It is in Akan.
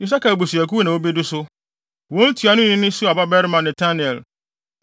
Isakar abusuakuw na wobedi so. Wɔn ntuanoni ne Suar babarima Netanel.